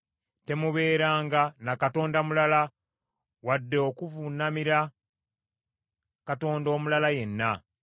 Temubeeranga na katonda mulala, wadde okuvuunamira katonda omulala yenna.